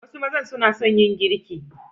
Some men love to cook